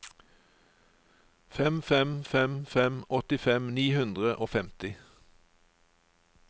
fem fem fem fem åttifem ni hundre og femti